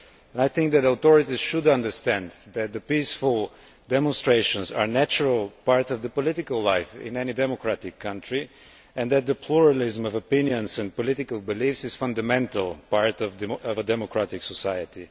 I think the authorities should understand that peaceful demonstrations are a natural part of political life in any democratic country and that the pluralism of opinions and political beliefs is a fundamental part of a democratic society.